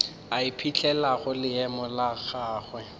a ipetlelago leemo la gagwe